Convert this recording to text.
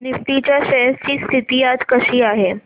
Nifty च्या shares ची स्थिती आज कशी आहे